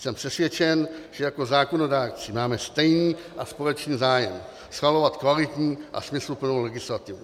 Jsem přesvědčen, že jako zákonodárci máme stejný a společný zájem - schvalovat kvalitní a smysluplnou legislativu.